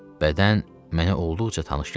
Bədən mənə olduqca tanış gəldi.